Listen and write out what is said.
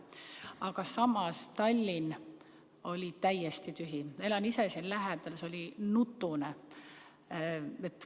Aga samas Tallinn oli täiesti tühi, elan ise siin lähedal, see oli nutune.